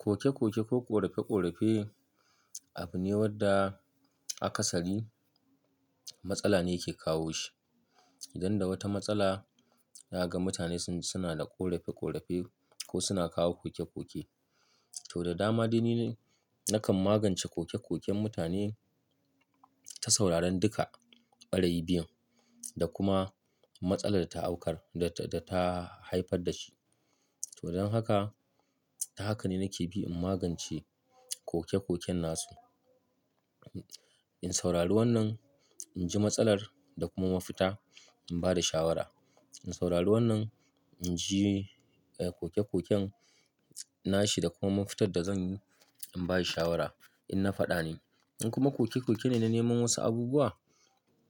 Koke-koke ko ƙorafe-ƙorafe abu ne wanda akasari matsala ne yake kawo shi. Idan da wata matsala, zaga mutane suna da ƙorafe-ƙorafe ko suna kawo koke-koke, to da dama dai ni de nakan magance koke-koken mutane ta sauraron duka ɓarayin biyun da kuma matsalar da ta haifar da shi. To don haka, ta haka ne nake bi in magance koke-koken nasu. In saurari wannan, in ji matsalar da kuma mafita, in ba da shawara. In saurari wannan, in ji, eh, koke-koken nashi da kuma mafitar da zanyi, in ba shi shawara in na faɗa ne. In kuma koke-koke ne na neman wasu abubuwa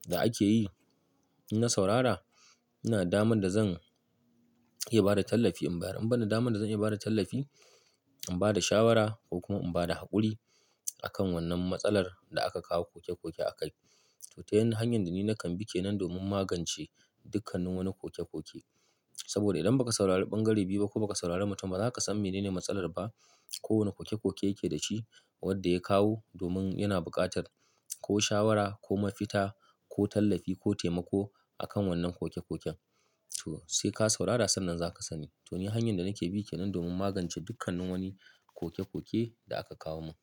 da ake yi, in na saurara, ina da daman da zan iya bada tallafi in bayar. In ban da daman da zan iya bada tallafi, in ba da shawara ko kuma in bada haƙuri a kan wannan matsalar da aka kawo koke-koke a kai. To, ta hanyar da ni nakan bi ke nan domin magance dukkanin wani koke-koke. Saboda idan ba ka saurari ɓangare biyu ba ko ba ka saurari mutum ba, ba za ka san menene matsalar ba ko wane koke-koke yake da shi wadda ya kawo domin yana buƙatar ko shawara ko mafita ko tallafi ko taimako a kan wannan koke-koken. To, sai ka saurara sannan za ka sani. To, ni hanyar da nake bi ke nan domin magance dukkanin wani koke-koke da aka kawo mun.